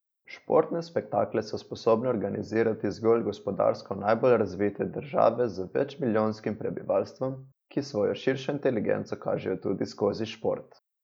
Športne spektakle so sposobne organizirati zgolj gospodarsko najbolj razvite države z večmilijonskim prebivalstvom, ki svojo širšo inteligenco kažejo tudi skozi šport.